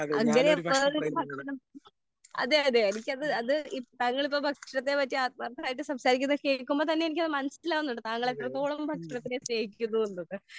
അങ്ങനെ എപ്പഴും ഭക്ഷണം അതെ അതെ അതെ എനിക്കത് അത് താങ്കൾ ഇപ്പോൾ ഭക്ഷണത്തെ പറ്റി ഇത്രയും ആത്മാർഥമായിട്ട് സംസാരിക്കുന്നത് കേൾക്കുമ്പോൾ തന്നെ എനിക്ക് മനസ്സിലാകുന്നുണ്ട് താങ്കൾ എത്രത്തോളം ഭക്ഷണത്തെ സ്നേഹിക്കുന്നു എന്ന്.